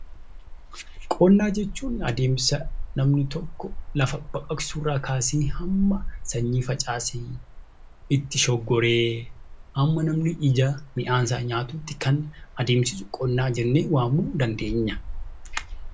Qonna jechuun adeemsa namni tokko lafa baqaqsuurraa kaasee hamma sanyii facaasee, itti shoggoree hamma namni ija midhaan isaa nyaatutti kan adeemsicha qonnaa jennee waamuu dandeenya.